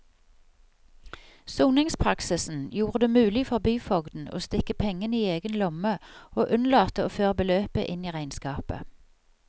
Soningspraksisen gjorde det mulig for byfogden å stikke pengene i egen lomme og unnlate å føre beløpet inn i regnskapet.